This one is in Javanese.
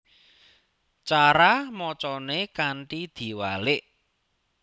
Cara macané kanthi diwalik